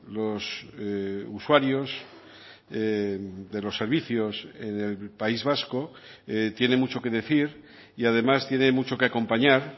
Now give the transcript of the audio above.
los usuarios de los servicios del país vasco tiene mucho que decir y además tiene mucho que acompañar